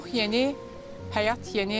Ruh yeni, həyat yeni.